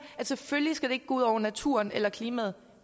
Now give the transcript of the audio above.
at selvfølgelig skal det ikke gå ud over naturen eller klimaet